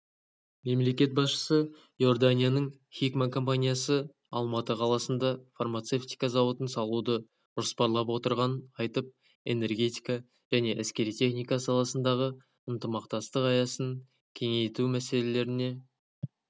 мемлекет басшысы иорданияның хикма компаниясы алматы қаласында фармацевтика зауытын салуды жоспарлап отырғанын айтып энергетика және әскери-техника саласындағы ынтымақтастық аясын кеңейту мәселелеріне